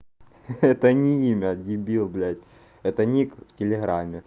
это не имя дебил блять это ник в телеграме